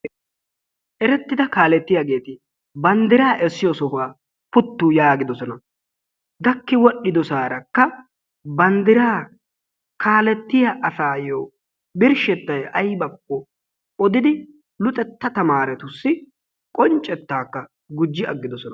erettida kaalletiyaageti banddiraa essiyoo sohuwaa puuttu yaagidoosona. gaakki wol"idoosarakka banddiraa kalettiyaa asayoo birshshettay aybbako oddiidi luxetta taameretussi qonccettaa gujji aggidoosona.